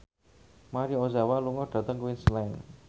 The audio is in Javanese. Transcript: Maria Ozawa lunga dhateng Queensland